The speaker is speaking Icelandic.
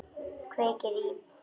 Kveikir í.